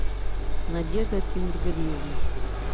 надежда тимергалиевна